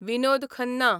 Vinod Khanna